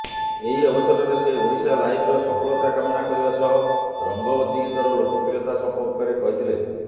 ଏହି ଅବସରରେ ସେ ଓଡ଼ିଶାଲାଇଭ୍ର ସଫଳତା କାମନା କରିବା ସହ ରଙ୍ଗବତୀ ଗୀତର ଲୋକପ୍ରିୟତା ସମ୍ପର୍କରେ କହିଥିଲେ